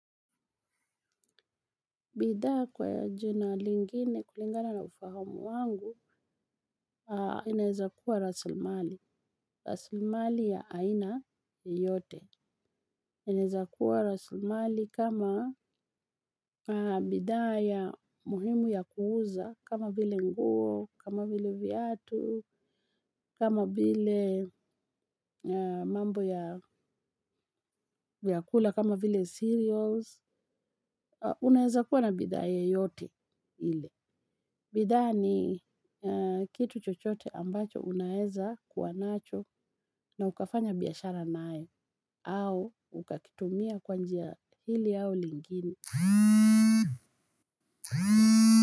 Bidhaa kwa jina lingine kulingana na ufahamu wangu, inaeza kuwa rasilimali. Rasilimali ya aina yote. Inaeza kuwa rasilimali kama bidhaa ya muhimu ya kuuza, kama vile nguo, kama vile viatu, kama vile mambo ya vyakula, kama vile cereals. Unaeza kuwa na bidhaa yoyote ile. Bidhaa ni kitu chochote ambacho unaeza kuwa nacho na ukafanya biashara nayo au ukakitumia kwanjia hili au lingine.